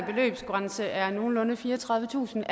beløbsgrænse er nogenlunde fireogtredivetusind